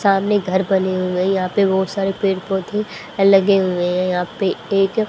सामने घर बने हुए हैं यहां पे बहुत सारे पेड़ पौधे लगे हुए है यहां पे एक--